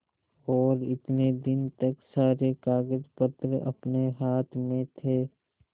और इतने दिन तक सारे कागजपत्र अपने हाथ में थे